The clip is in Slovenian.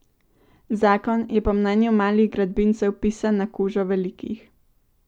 Zakon je po mnenju malih gradbincev pisan na kožo velikih.